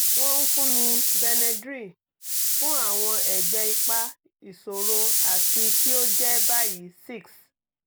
wọ́n fún mi benedril fún àwọn ẹgbẹ́ ipa ìṣòro àti kí ó jẹ́ báyìí six